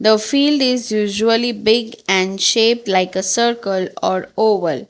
The field is usually big and shape like a circle or oval.